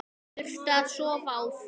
Þurfti að sofa á því.